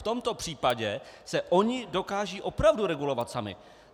V tomto případě se oni dokážou opravdu regulovat sami.